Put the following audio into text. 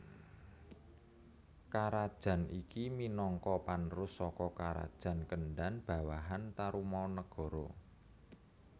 Karajan iki minangka panerus saka karajan Kendan bawahan Tarumanagara